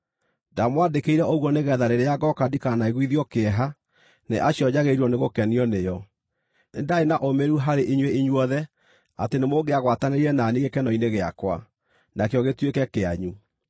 Ndamwandĩkĩire ũguo nĩgeetha rĩrĩa ngooka ndikanaiguithio kĩeha nĩ acio njagĩrĩirwo nĩgũkenio nĩo. Nĩ ndaarĩ na ũũmĩrĩru harĩ inyuĩ inyuothe atĩ nĩmũngĩagwatanĩire na niĩ gĩkeno-inĩ gĩakwa, nakĩo gĩtuĩke kĩanyu.